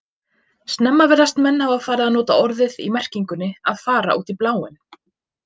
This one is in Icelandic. Snemma virðast menn hafa farið að nota orðið í merkingunni að fara út í bláinn.